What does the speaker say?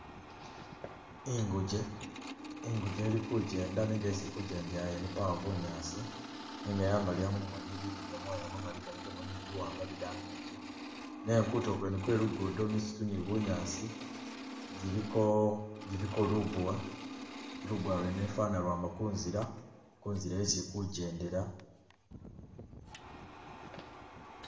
Inguge-inguge ili kugenda nenga esi ili kugendela ene pawo bunyaasi, nenga yamaliya mumoni ili ni gamoya mamali galigamu ni biwaanga bidambi biti nenga kutulo kwene kwe lugudo misitu ni bunyaasi giliko giliko lubuwa, lubuwa lwene ifwana lwama kunzila, kunzila isi ili kugyendela.